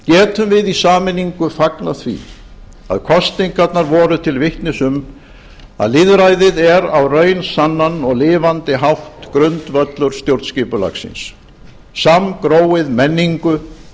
gengur getum við í sameiningu fagnað því að kosningarnar voru til vitnis um að lýðræðið er á raunsannan og lifandi hátt grundvöllur stjórnskipulagsins samgróið menningu